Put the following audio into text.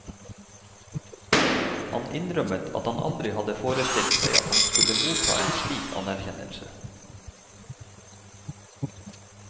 Han innrømmet at han aldri hadde forstilt seg at han skulle motta en slik anerkjennelse.